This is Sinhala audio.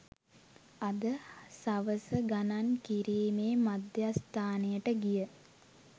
අද සවස ගණන් කිරීමේ මධ්‍යස්ථානයට ගිය